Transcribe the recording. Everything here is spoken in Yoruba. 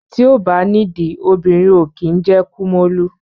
Ti o ba nìdí obìnrin ó kín jẹ́ kí kumólú